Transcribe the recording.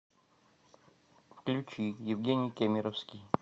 включи евгений кемеровский